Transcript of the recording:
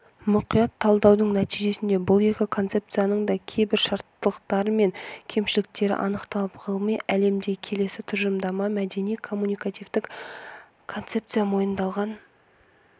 мұқият талдаудың нәтижесінде бұл екі концепцияның да кейбір шарттылықтары мен кемшіліктері анықталып ғылыми әлемде келесі тұжырымдама мәдени коммуникативтік концепция мойындалған